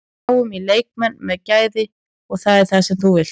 Við náðum í leikmenn með gæði og það er það sem þú vilt.